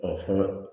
fana